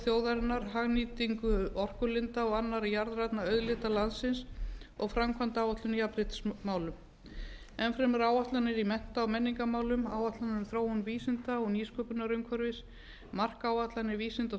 þjóðarinnar hagnýtingu orkulinda og annarra jarðrænna auðlinda landsins og framkvæmdaáætlun í jafnréttismálum enn fremur áætlanir í mennta og menningarmálum áætlanir um þróun vísinda og nýsköpunarumhverfisins markáætlanir vísinda og